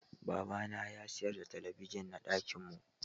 Baba na ya sayar ɗa talabijin na ɗakin mu.